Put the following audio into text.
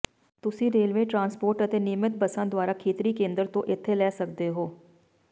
ਤੁਸੀਂ railway transport ਅਤੇ ਨਿਯਮਤ ਬੱਸਾਂ ਦੁਆਰਾ ਖੇਤਰੀ ਕੇਂਦਰ ਤੋਂ ਇੱਥੇ ਲੈ ਸਕਦੇ ਹੋ